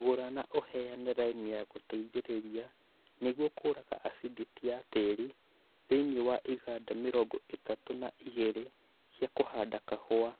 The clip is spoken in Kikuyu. Gũra na uheane lime ya gũteithĩrĩria nĩguo kũrũnga acidity ya tĩĩri thĩinĩ wa iganda mĩrongo ĩtatũ na igĩrĩ cia kũhanda kahua